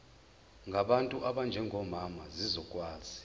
ngabantu abanjengomama zizokwazi